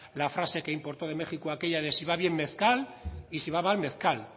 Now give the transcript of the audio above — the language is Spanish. la frase que importó de méjico aquella de si va bien mezcal y si va mal mezcal